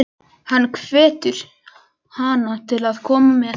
Hann hvetur hana til að koma með.